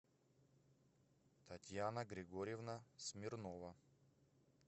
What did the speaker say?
татьяна григорьевна смирнова